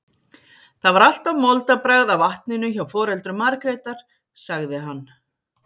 Það var alltaf moldarbragð af vatninu hjá foreldrum Margrétar, sagði hann.